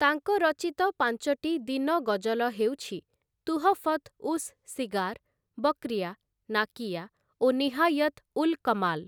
ତାଙ୍କ ରଚିତ ପାଞ୍ଚଟି ଦିନ ଗଜଲ ହେଉଛି 'ତୁହଫତ୍ ଉସ୍ ସିଗାର', 'ବକ୍ରିୟା', 'ନାକିୟା' ଓ 'ନିହାୟତ୍ ଉଲ୍ କମାଲ୍' ।